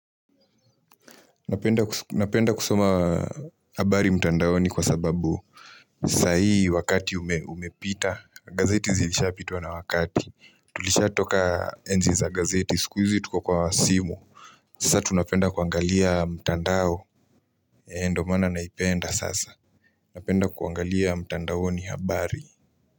Napenda kusoma habari mtandaoni kwa sababu sa hii wakati umepita gazeti zilishapitwa na wakati tulishatoka enzi za gazeti sikuizi tuko kwa simu. Sasa tunapenda kuangalia mtandao. Ee ndo maana naipenda sasa. Napenda kuangalia mtandaoni habari muziki.